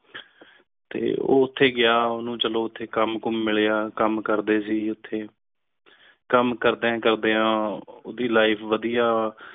tour ਤੇ ਗਿਆ ਉਹਨੂੰ ਚਲੋ ਉਥੇ ਕੰਮ ਮਿਲਿਆ ਕੰਮ ਕਰਦੇ ਜਿੱਥੇ ਕੰਮ ਕਰ ਰਹੇ ਕਾਮਿਆਂ ਦੀ ਲਾਈਫ ਵਧੀਆ ਹੈ